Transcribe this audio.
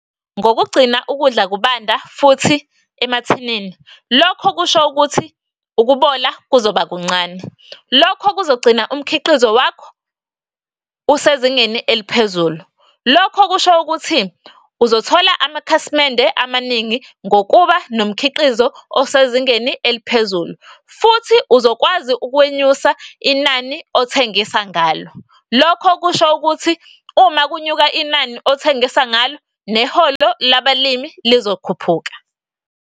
Ngokugcina ukudla kubanda futhi emathinini, lokho kusho ukuthi ukubola kuzoba kuncane. Lokho kuzogcina umkhiqizo wakho usezingeni eliphezulu. Lokho kusho ukuthi uzothola amakhasimende amaningi ngokuba nomkhiqizo osezingeni eliphezulu. Futhi uzokwazi ukwenyusa inani othengisa ngalo, lokho kusho ukuthi uma kunyuka inani othengisa ngalo neholo labalimi lizokhuphuka.